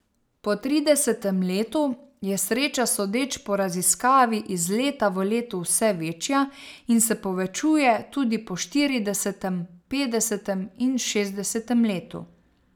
Po tridesetem letu je sreča sodeč po raziskavi iz leta v leto vse večja in se povečuje tudi po štiridesetem, petdesetem in šestdesetem letu.